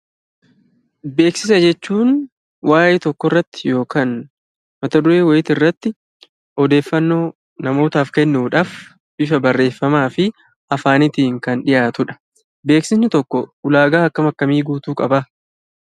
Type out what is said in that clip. Beeksisa jechuun waa'ee tokkorratti yokaan mataduree wa'iitirratti odeeffannoo namootaaf kennuudhaf bifa barreeffamaa fi afaanitiin kan dhiyaatudha. Beeksisni tokkoo ulaagaa akkam akkamii guutuu qabaa?